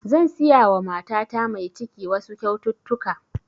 Zan siya wa matata mai ciki wasu kyaututtuka